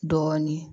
Dɔɔnin